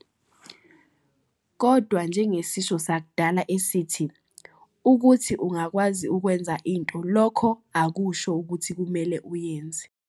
Kodwa njengesisho sakudala esithi, ukuthi ungakwazi ukwenza into, lokho akusho ukuthi kumele uyenze.